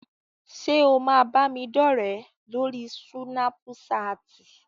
Ṣé o máa bámidọ́rẹ̀ẹ́ lórí súnápúṣaàtì?